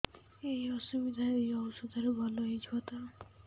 ଏଇ ଅସୁବିଧା ଏଇ ଔଷଧ ରେ ଭଲ ହେଇଯିବ ତ